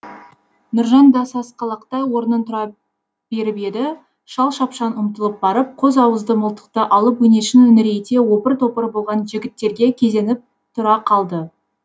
нұржан да сасқалақтай орнын тұра беріп еді шал шапшаң ұмтылып барып қос ауызды мылтықты алып өңешін үңірейте опыр топыр болған жігіттерге кезеніп тұра қалды